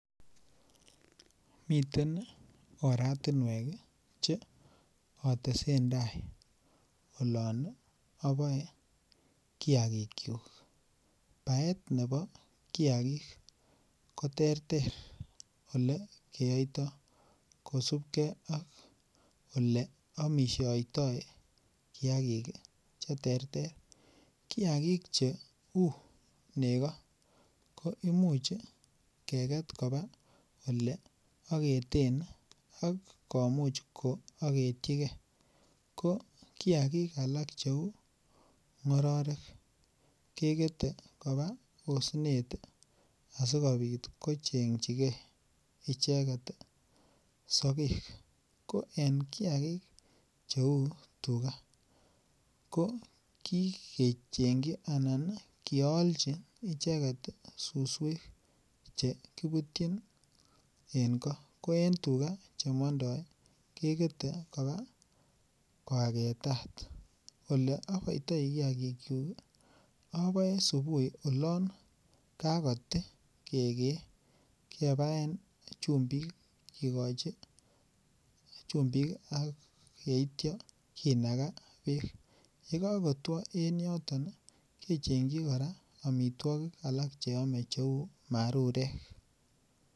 Miten oratinwek Che otesentai olon oboe kiagikyuk baet nebo kiagik ko terter Ole keyoitoi kosubge ak Ole aamisiotoi kiagik Che terter kiagik cheu nego ko Imuch keget koba Ole ageten ak komuch ko agetyi ge ko kiagik alak cheu ngororek kegete koba osnet asikobit kochengchijigei sogek ko en kiagik cheu tugaa ko kialchi icheget suswek Che kibutyin en koo ko en tuga Che mondoi kegete koba ko agetat Ole aboitoi kiagikyuk aboe subuhi kakoti kegee keboen chumbik ak yeityo kinaga bek yon ko kotwo en yoto kechingji kora amitwogik Che ame cheu marurek